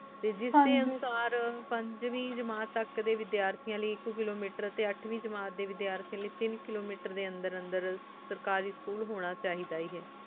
T ਜਿਸ ਡੀ ਇਨਸਰ ਪੰਜਵੇਂ ਜਿਮਤ ਤਕ ਡੀ ਵੇਦ੍ਯਾਤਾਂ ਲੈ ਆਇਕ ਕਿਲੋ ਮੀਟਰ ਟੀ ਅਠਵੀ ਜਿਮਤ ਵੇਦ੍ਯਾਤਾਂ ਲੈ ਤੀਨ ਕਿਲੋ ਮੀਟਰ ਡੀ ਅੰਦਰ ਅੰਦਰ ਸਰਕਾਰੀ ਸਕੂਲ ਹੁਣ ਚਾਹੇਦਾ